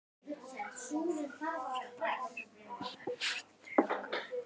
Faðir hennar tekur undir.